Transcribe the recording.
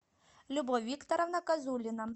любовь викторовна казулина